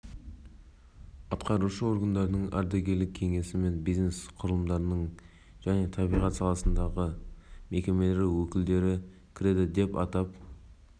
үйлестіру кеңесі ерекше қорғалатын табиғи аумақтар қызметінің ашықтығын қамтамасыз ету үшін құрылмақ оның құрамына мен жергілікті